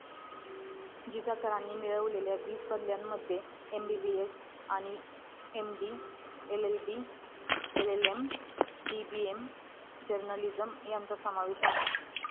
जिजा करांनी मिळविलेल्या वीस बदल्यांमध्ये एमबीबीएस आणि MD LB LLM DBM journalism यांचा समावेश आहे